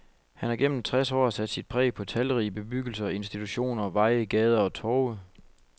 Han har gennem treds år sat sit præg på talrige bebyggelser, institutioner, veje, gader og torve.